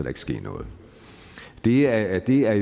ikke ske noget det er det er